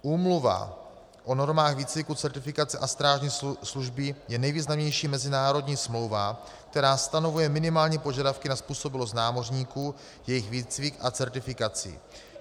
Úmluva o normách výcviku, certifikace a strážní služby je nejvýznamnější mezinárodní smlouva, která stanovuje minimální požadavky na způsobilost námořníků, jejich výcvik a certifikaci.